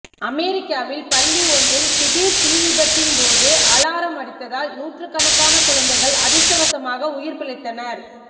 அமெரிக்காவில் பள்ளி ஒன்றில் திடீர் தீ விபத்தின் போது அலாரம் அடித்ததால் நூற்றுக்கணக்கான குழந்தைகள் அதிர்ஷ்டவசமாக உயிர் பிழைத்தனர்